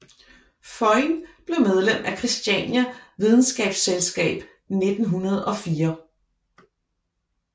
Føyn blev medlem af Kristiania Videnskabsselskab 1904